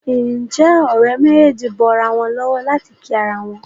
Nje Òré méjèjì bó ira wón lówó láti kí àrà wón?